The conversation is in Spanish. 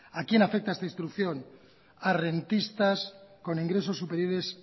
a quién afecta esta instrucción a rentistas con ingresos superiores